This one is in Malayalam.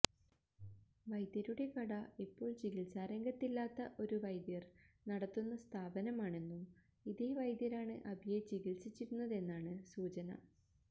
വൈദ്യരുടെ കട ഇപ്പോൾ ചികിത്സാ രംഗത്തില്ലാത്ത ഒരു വൈദ്യർ നടത്തുന്ന സ്ഥാപനമാണെന്നും ഇതേ വൈദ്യരാണ് അബിയെ ചികിത്സിച്ചിരുന്നതെന്നാണ് സൂചന